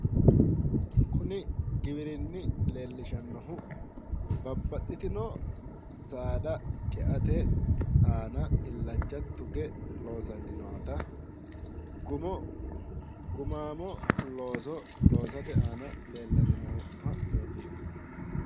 Kuni giwirinni leellishannohu babbaxitino saada ceate aana illacha tuge loosanni noota gumaamo looso loosate aana leellanni nooha leellishanno.